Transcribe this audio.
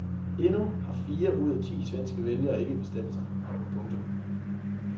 Endnu har fire ud af ti svenske vælgere ikke bestemt sig. punktum